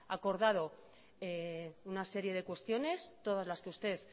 acordado una serie de cuestiones todas las que usted